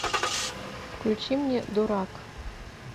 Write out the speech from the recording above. включи мне дурак